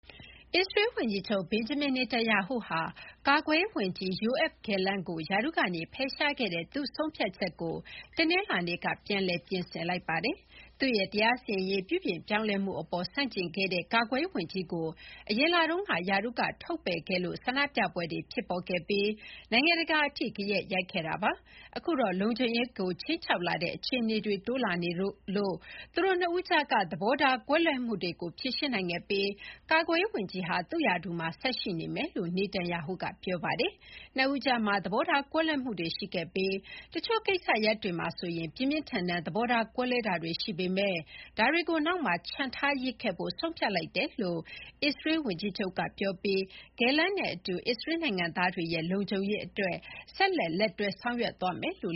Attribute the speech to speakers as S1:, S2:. S1: အစ္စရေးဝန်ကြီးချုပ် ဘင်ဂျမင် နာတန်ယာဟုဟာ ကာကွယ်ရေးဝန်ကြီး ယိုအက်ဖ် ဂယ်လန့် (Yoav Gallant) ကို ရာထူးကဖယ်ရှားခဲ့တဲ့ သူ့ဆုံးဖြတ်ချက်ကို တနင်္လာနေ့က ပြန်လည် ပြင်ဆင်လိုက်ပါတယ်။ သူ့ရဲ့ တရားစီရင်ရေးပြုပြင်ပြောင်းလဲမှုအပေါ်ဆန့်ကျင်ခဲ့တဲ့ ကာကွယ်ရေးဝန်ကြီးကို အရင်လတုန်းက ရာထူးကထုတ်ပယ်ခဲ့လို့ ဆန္ဒပြပွဲတွေဖြစ်ပေါ်ခဲ့ပြီး နိုင်ငံတကာအထိ ဂယက်ရိုက်ခဲ့တာပါ။ အခုတော့ လုံခြုံရေးကိုခြိမ်းခြောက်လာတဲ့အခြေအနေတွေ တိုးလာနေလို့ သူတို့နှစ်ဦးကြားက သဘောထားကွဲလွဲမှုတွေကို ဖြေရှင်းနိုင်ခဲ့ပြီး ကာကွယ်ရေးဝန်ကြီးဟာ သူ့ရာထူးမှာ ဆက်ရှိမယ်လို့ နာတန်ယာဟုက ပြောပါတယ်။ နှစ်ဦးကြားမှာ သဘောထားကွဲလွဲမှုတွေရှိခဲ့ပြီး တချို့ကိစ္စရပ်တွေမှာဆိုရင် ပြင်းပြင်းထန်ထန် သဘောထားကွဲလွဲတာတွေရှိပေမယ့် ဒါတွေကို နောက်မှာချန်ထားရစ်ခဲ့ဖို့ ဆုံးဖြတ်လိုက်တယ်လို့ အစ္စရေးဝန်ကြီးချုပ်ပြောပြီး ဂယ်လန့်နဲ့အတူ အစ္စရေးနိုင်ငံသားတွေရဲ့ လုံခြုံရေးအတွက်
S2: ဆက်လက် လက်တွဲလုပ်ဆောင်သွားမယ်လို့